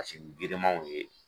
girimanw ye